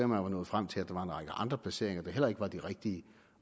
man var nået frem til at der var en række andre placeringer der heller ikke var de rigtige